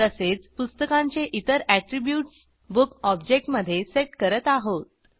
तसेच पुस्तकांचे इतर अॅट्रीब्यूट्स बुक ऑब्जेक्टमधे सेट करत आहोत